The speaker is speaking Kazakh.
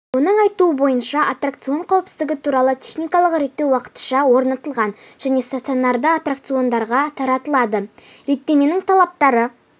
оның айтуы бойынша аттракцион қауіпсіздігі туралы техникалық реттеу уақытыша орнатылған және стационарды аттрауциондарға таратылады реттеменің талаптары